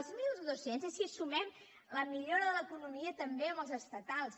els mil dos cents és si sumem la millora de l’economia també amb els estatals